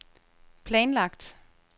planlagt